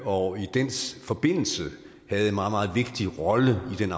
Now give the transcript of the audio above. og i den forbindelse havde en meget meget vigtig rolle i den